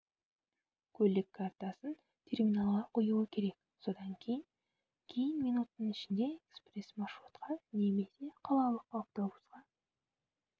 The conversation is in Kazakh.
көлік картасын терминалға қоюы керек содан кейін кейін минуттың ішінде экспресс маршрутқа немесе қалалық автобусқа